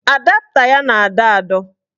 Adapta ya na-adọ adọ